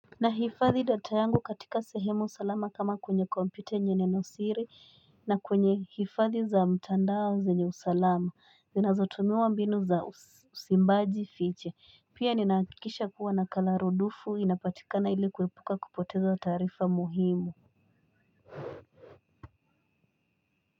Na hifadhi data yangu katika sehemu salama kama kwenye kompyuta yenye nenosiri na kwenye hifadhi za mtandao zenye usalama zinazotumia mbinu za usimbaji fiche pia ninakikisha kuwa na kararodufu inapatikana ilikuwepuka kupoteza taarifa muhimu.